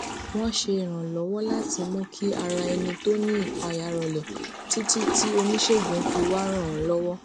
wón se iranlowo lati mú kí ara ẹni tó ní ìpayà rọlè títí tí oníṣègùn fi wá ràn án lówó